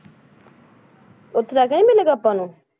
ਉੱਥੇ ਜਾ ਕੇ ਨੀ ਮਿਲੇਗਾ ਆਪਾਂ ਨੂੰ?